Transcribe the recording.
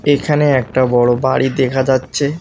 এখানে একটা বড়ো বাড়ি দেখা যাচ্ছে।